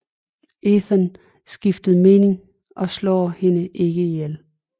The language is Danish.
Ethan skifter mening og slår hende ikke ihjel